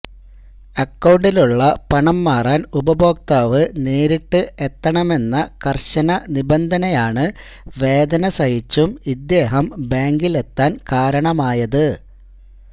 അക്കൌണ്ടിലുള്ള പണം മാറാൻ ഉപഭോക്താവ് നേരിട്ട് എത്തണമെന്ന കർശന നിബന്ധനയാണ് വേദന സഹിച്ചും ഇദ്ദേഹം ബാങ്കിൽ എത്താൻ കാരണമായത്